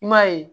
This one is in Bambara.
I m'a ye